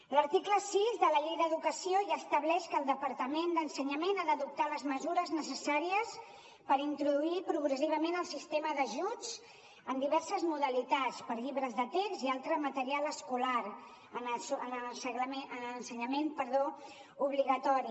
l’article sis de la llei d’educació ja estableix que el departament d’educació ha d’adoptar les mesures necessàries per introduir progressivament el sistema d’ajuts en diverses modalitats per a llibres de text i altre material escolar en l’ensenyament obligatori